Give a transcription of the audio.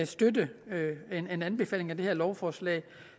støtte en anbefaling af det her lovforslag